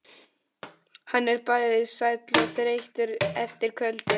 Hann er bæði sæll og þreyttur eftir kvöldið.